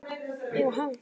Eva: Ha?